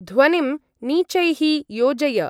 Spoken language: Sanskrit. ध्वनिं नीचैः योजय।